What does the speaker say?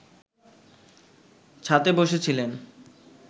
ছাতে বসেছিলেন